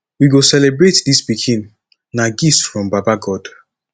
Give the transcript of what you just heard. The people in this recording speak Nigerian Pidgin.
we go celebrate dis pikin na gift from baba god